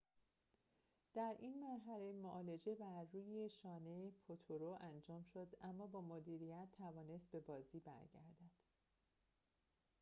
در این مرحله معالجه بر روی شانه پوترو انجام شد اما با مدیریت توانست به بازی برگردد